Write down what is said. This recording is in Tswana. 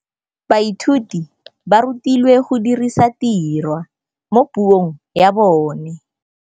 Baithuti ba rutilwe go dirisa tirwa mo puong ya bone.